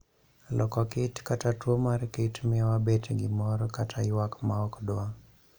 . Loko kiti kata tuo mar kit mio wabet gi mor kata ywak maok dw